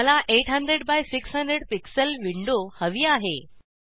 मला 800 by 600 pixel window हवी आहे